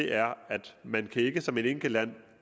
er at man ikke som et enkelt land